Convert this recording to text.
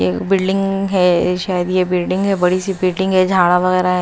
एक बिल्डिंग है शायद ये बिल्डिंग है बड़ी सी बिल्डिंग है झाड़ा वगैरह है।